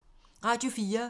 Radio 4